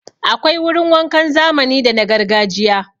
Akwai wurin wankan zamani da na gargajiya.